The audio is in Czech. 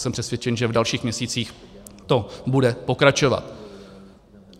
Jsem přesvědčen, že v dalších měsících to bude pokračovat.